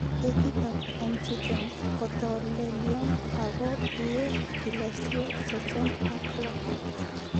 Ketitab MT10 kotolelion ago iye kilosiek sosom ok loo